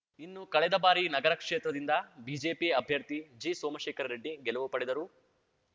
ಇನ್ನು ಕಳೆದ ಬಾರಿ ನಗರ ಕ್ಷೇತ್ರದಿಂದ ಬಿಜೆಪಿ ಅಭ್ಯರ್ಥಿ ಜಿಸೋಮಶೇಖರ ರೆಡ್ಡಿ ಗೆಲುವು ಪಡೆದರೂ